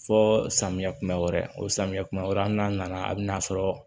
Fɔɔ samiyɛ kuma wɛrɛ o samiyɛ kuma wɛrɛ hali n'a nana a bina sɔrɔ